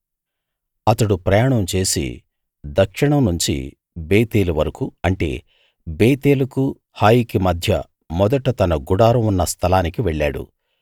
అతడు ప్రయాణం చేసి దక్షిణం నుంచి బేతేలు వరకూ అంటే బేతేలుకు హాయికి మధ్య మొదట తన గుడారం ఉన్న స్థలానికి వెళ్ళాడు